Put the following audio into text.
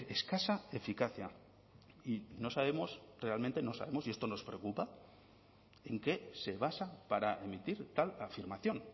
escasa eficacia y no sabemos realmente no sabemos y esto nos preocupa en qué se basa para emitir tal afirmación